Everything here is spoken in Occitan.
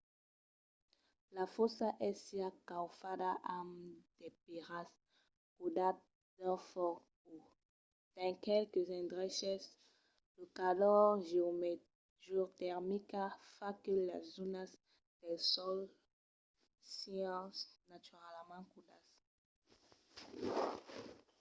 la fòssa es siá caufada amb de pèiras caudas d'un fòc o dins qualques endreches la calor geotermica fa que las zònas del sòl sián naturalament caudas